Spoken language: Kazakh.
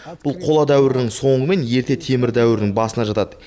бұл қола дәуірінің соңы мен ерте темір дәуірінің басына жатады